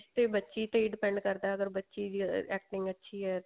ਤੇ ਬੱਚੀ ਤੇ depend ਕਰਦਾ ਅਗਰ ਬੱਚੀ ਦੀ acting ਅੱਛੀ